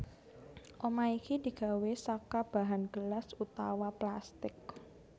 Omah iki digawé saka bahan gelas utawa plastik